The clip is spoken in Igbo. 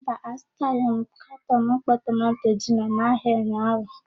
Mba, azụtaghị m katọn mkpọ tomanto gino n'ahịa ụnyaahụ.